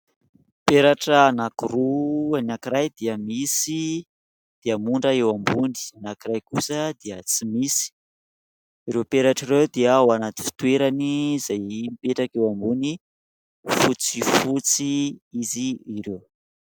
Peratra anankiroa ny anankiray dia misy diamondra eo ambony, anankiray kosa dia tsy misy. Ireo peratra ireo dia ao anaty fitoerany izay mipetraka eo ambony fotsifotsy izy ireo.